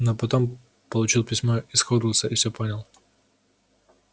но потом получил письмо из хогвартса и всё понял